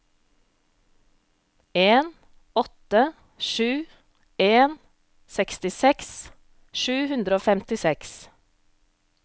en åtte sju en sekstiseks sju hundre og femtiseks